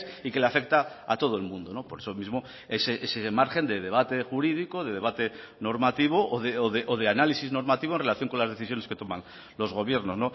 y que le afecta a todo el mundo por eso mismo ese margen de debate jurídico de debate normativo o de análisis normativo en relación con las decisiones que toman los gobiernos